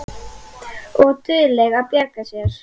Og dugleg að bjarga sér.